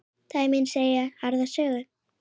Dæmin segja aðra sögu.